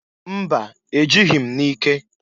Mba! E jịghị m n'ike.